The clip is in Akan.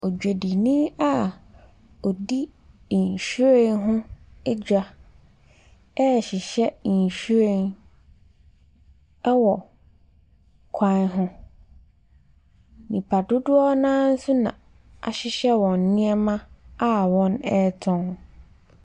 Odwadini a ɔdi nhwiren ho dwa rehyehyɛ nhwiren wɔ kwan ho. Nnipa dodoɔ no ara nso na ahyehyɛ wɔn nneɛma a wɔretɔn.